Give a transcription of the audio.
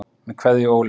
Með Kveðju Óli.